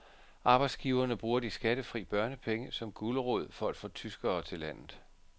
Arbejdsgiverne bruger de skattefri børnepenge som gulerod for at få tyskere til landet.